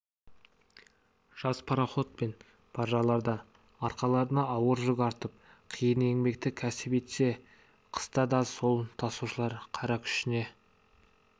жаз пароход пен баржаларда арқаларына ауыр жүк артып қиын еңбекті кәсіп етсе қыста да сол тасушылар қара күшіне